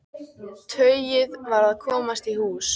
Tauið varð að komast í hús.